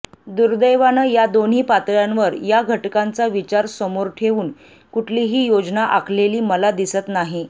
दुर्दैवानं या दोन्ही पातळ्यांवर या घटकांचा विचार समोर ठेवून कुठलीही योजना आखलेली मला दिसत नाही